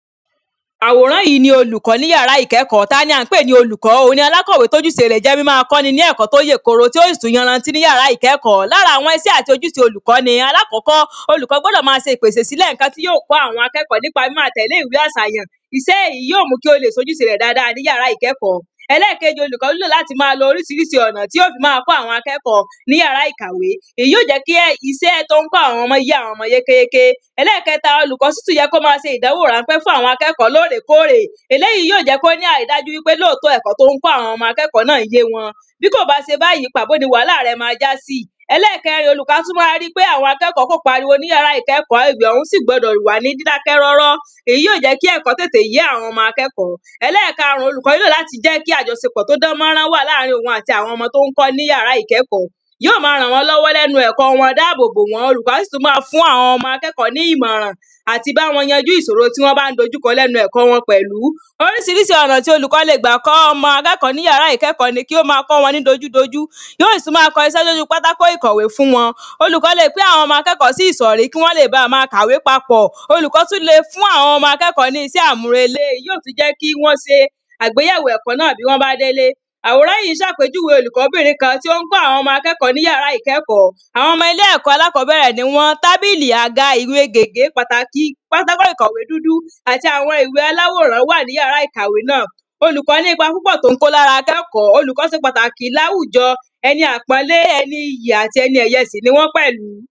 Àwòrán yìí ni olùkọ́ ní ìyàrá ìkẹ́kọ́ Táni à ń pè ní olùkọ́ Òhun ni alákọ̀wé tí ojúṣe rẹ̀ jẹ́ mímáa kọ́ ẹni ní ẹ̀kọ́ tí ó yè koro tí ó sì tún yanranti ní ìyàrá ní ìkẹ́kọ́ Lára àwọn iṣẹ́ aṣojúṣe olùkọ́ ni Alákọ́kọ́ olùkọ́ gbọ́dọ̀ máa ṣe ìpèsè sílẹ̀ nǹkan tí yóò kọ́ àwọn akẹ́kọ̀ọ́ nípa mímáa tẹ̀lé ìwé àsàyàn Iṣẹ́ èyí yóò mú kí ó lè ṣe ojúṣe rẹ̀ dáadáa ní ìyàrá ìkẹ́kọ́ Ẹlẹ́ẹ̀kejì olùkọ́ nílò láti máa lo oríṣiríṣi ọ̀nà tí yóò fi máa kọ́ àwọn akẹ́kọ̀ọ́ ní ìyàrá ìkàwé Ìyí óò jẹ́ kí iṣẹ́ tí o ń kọ́ àwọn ọmọ yé àwọn ọmọ yékéyéké Ẹlẹ́ẹ̀kẹta olùkọ́ sì tún yẹ kí ó máa ṣe ìdánwò ránpẹ́ fún àwọn akẹ́kọ̀ọ́ lóòrèkóòrè Eléyì yóò jẹ́ kí ó ní àrídájú wípé lóòtọ́ ẹ̀kọ́ tí ó ń kọ́ àwọn ọmọ akẹ́kọ̀ọ́ náà yé wọn Bí kò bá ṣe báyì pàbó ni wàhálà rẹ̀ ma já sí Ẹlẹ́ẹ̀kẹrin olùkọ́ á tún wá ri pé àwọn akẹ́kọ̀ọ́ kò pariwo ní ìyàrá ìkẹ́kọ̀ọ́ Agbègbè ọ̀hún gbọ́dọ̀ sì wà ní dídákẹ́rọ́rọ́ Èyí yóò jẹ́ kí ẹ̀kọ́ tètè yé àwọn ọmọ akẹ́kọ̀ọ́ Ẹlẹ́ẹ̀karùn-ún olùkọ́ nílò láti jẹ́ kí àjọṣepọ̀ tí ó dán mánrán wà ní àárín òhun àti àwọn ọmọ tí ó ń kọ́ ní ìyàrá ìkẹ́kọ̀ọ́ Yóò máa ràn wọ́n lọ́wọ́ ní ẹnu ẹ̀kọ́ wọn dá àbò bò wọ́n olùkọ́ á tún máa fún àwọn akẹ́kọ̀ọ́ ní ìmọ̀ràn àti bá wọn yanjú ìṣòro tí wọ́n bá dojú kọ ní ẹnu ẹ̀kọ́ wọn pẹ̀lú oríṣiríṣi ọ̀nà tí olùkọ́ lè gbà kọ́ ọmọ akẹ́kọ̀ọ́ ní ìyàrá ìkẹ́kọ̀ọ́ ni kí ó ma kọ́ wọn ní dojúdojú Yóò sì tún ma kọ iṣẹ́ sí ojú pátákó ìkọ̀wé fún wọn Olùkọ́ lè pín àwọn ọmọ akẹ́kọ̀ọ́ sí ìsọ̀rí kí wọ́n lè báa máa kàwé papọ̀ Olùkọ́ tún lè fún àwọn akẹ́kọ̀ọ́ ní iṣẹ́ àmúrelé Ìyí óò tún jẹ́ kí wọ́n ṣe àgbéyẹ̀wò ẹ̀kọ́ náà bí wọ́n bá délé Àwòrányìí ń ṣàpèjúwe olùkọ́bìnrin kan tí ó ń kọ́ àwọn ọmọ akẹ́kọ̀ọ́ ní ìyàrá ìkẹ́kọ̀ọ́ Àwọn ọmọ ilé ẹ̀kọ́ alákọ́bẹ̀rẹ̀ ni wọ́n Tábìlì àga ìwé gègé pàtàkì pátákó ìkọ̀wé dúdú àti àwọn ìwé aláwòrán wà ní ìyàrá ìkàwé náà Olùkọ́ ní ipa púpọ̀ tí ó ń kó ní ara akẹ́kọ̀ọ́ Olùkọ́ ṣe pàtàkì ní àwùjọ Eni àpọ́nlé ẹni iyì àti ẹni ẹ̀yẹ sì ni wọ́n pẹ̀lú